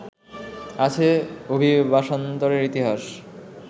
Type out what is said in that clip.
আছে অভিবাসান্তরের ইতিহাস